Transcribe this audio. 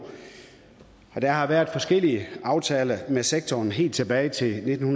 der har været forskellige aftaler med sektoren helt tilbage til nitten